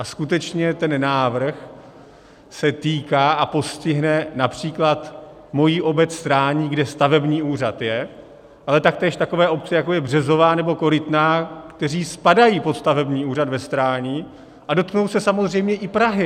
A skutečně ten návrh se týká, a postihne například moji obec Strání, kde stavební úřad je, ale taktéž takové obce, jako je Březová nebo Korytná, které spadají pod stavební úřad ve Strání, a dotknou se samozřejmě i Prahy.